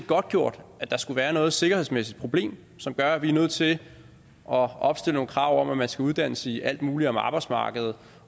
godtgjort at der skulle være noget sikkerhedsmæssigt problem som gør at vi er nødt til at opstille nogle krav om at man skal uddannes i alt muligt om arbejdsmarkedet